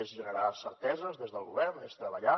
és generar certeses des del govern és treballar